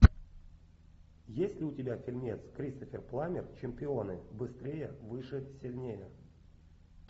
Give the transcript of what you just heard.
есть ли у тебя фильмец кристофер пламмер чемпионы быстрее выше сильнее